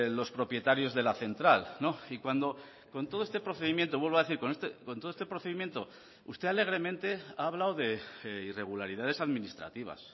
los propietarios de la central y cuando con todo este procedimiento vuelvo a decir con todo este procedimiento usted alegremente ha hablado de irregularidades administrativas